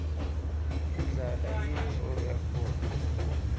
indlala yintfo yakhona